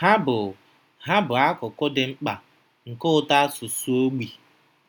Ha bụ Ha bụ akụkụ dị mkpa nke ụtọ asụsụ ogbi.